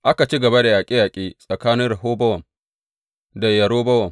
Aka ci gaba da yaƙe yaƙe tsakanin Rehobowam da Yerobowam.